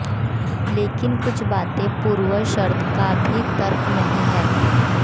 लेकिन कुछ बातें पूर्व शर्त का भी तर्क नहीं है